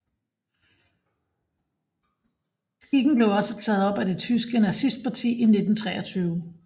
Skikken blev også taget op af det tyske nazistparti i 1923